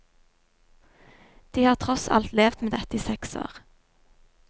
De har tross alt levd med dette i seks år.